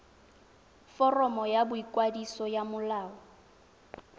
foromo ya boikwadiso ya molao